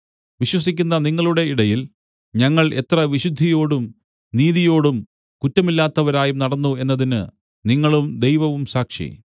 വിശ്വസിക്കുന്ന നിങ്ങളുടെ ഇടയിൽ ഞങ്ങൾ എത്ര വിശുദ്ധിയോടും നീതിയോടും കുറ്റമില്ലാത്തവരായും നടന്നു എന്നതിന് നിങ്ങളും ദൈവവും സാക്ഷി